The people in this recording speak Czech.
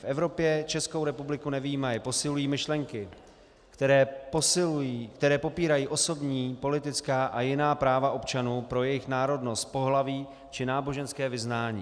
V Evropě, Českou republiku nevyjímaje, posilují myšlenky, které popírají osobní, politická a jiná práva občanů pro jejich národnost, pohlaví či náboženské vyznání.